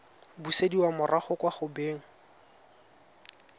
busediwa morago kwa go beng